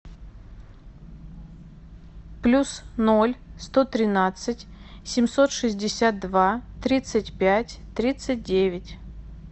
плюс ноль сто тринадцать семьсот шестьдесят два тридцать пять тридцать девять